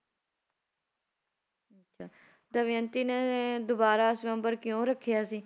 ਅੱਛਾ ਦਮਿਅੰਤੀ ਨੇ ਦੁਬਾਰਾ ਸਵੰਬਰ ਕਿਉਂ ਰੱਖਿਆ ਸੀ